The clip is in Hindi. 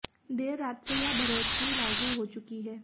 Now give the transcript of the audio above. देर रात से यह बढ़ोतरी लागू हो चुकी है